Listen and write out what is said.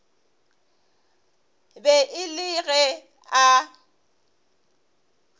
be e le ge a